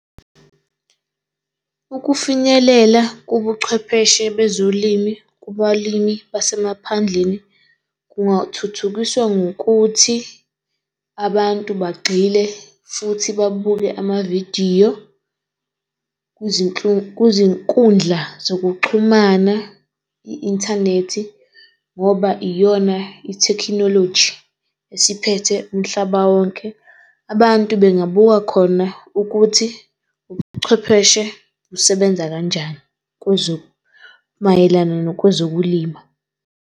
Ukufinyelela kobuchwepheshe bezolimi kubalimi basemaphandleni, kungathuthukiswa ngokuthi abantu bagxile futhi babuke amavidiyo kuzinkundla zokuxhumana, i-inthanethi, ngoba iyona ithekhinoloji esiphethe umhlaba wonke. Abantu bengabuka khona ukuthi ubuchwepheshe busebenza kanjani mayelana nokwezokulima.